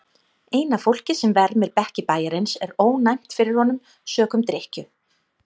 Eina fólkið sem vermir bekki bæjarins er ónæmt fyrir honum sökum drykkju.